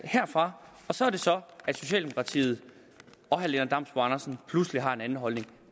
herfra så er det så at socialdemokratiet og herre lennart damsbo andersen pludselig har en anden holdning